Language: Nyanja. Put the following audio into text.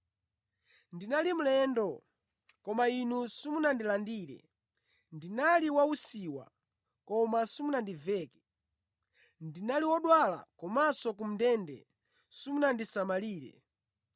ndinali mlendo koma inu simunandilandire, ndinali wa usiwa koma simunandiveke, ndinali wodwala komanso ku ndende simunandisamalire.’